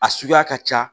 A suguya ka ca